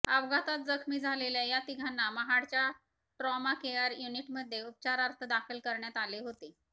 अपघातात जखमी झालेल्या या तिघांना महाडच्या ट्रॉमा केअर युनिटमध्ये उपचारार्थ दाखल करण्यात आले होते